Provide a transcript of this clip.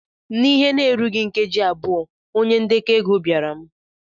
N'ihe na-erughị nkeji abụọ, onye ndekọ ego bịara m.